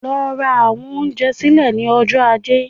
Lọ ra àwọn oúnjẹ sílẹ̀ ní ọjọ́ Ajé